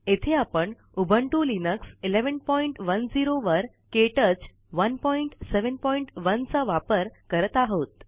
येथे आपण Ubuntu Linux 1110 वर के टच 171चा वापर करत आहोत